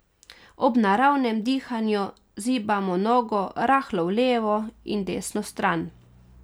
Ob naravnem dihanju zibamo nogo rahlo v levo in desno stran.